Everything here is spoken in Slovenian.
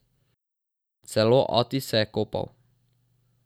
Celo ati se je kopal.